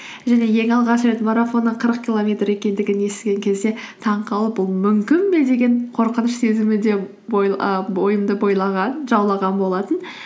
және ең алғаш рет марафонның қырық километр екендігін естіген кезде таңқалып бұл мүмкін бе деген қорқыныш сезімі де бойымды бойлаған жаулаған болатын